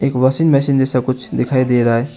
एक washing machine जैसा कुछ दिखाई दे रहा है।